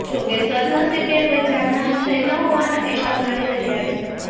જોકે સદનસીબે કોઇ જાનહાની થઇ ન હોવાના અહેવાલ મળી રહ્યા છે